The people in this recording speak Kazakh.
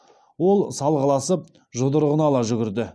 ол салғыласып жұдырығын ала жүгірді